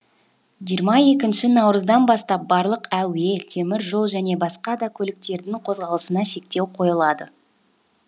жиырма екінші наурыздан бастап барлық әуе темір жол және басқа да көліктердің қозғалысына шектеу қойылады